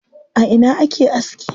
A ina ake aski?